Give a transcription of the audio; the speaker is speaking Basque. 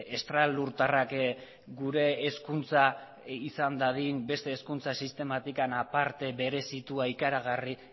estralurtarrak gure hezkuntza izan dadin beste hezkuntza sistematik aparte berezitua ikaragarri